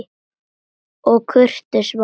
Og kurteis var hún.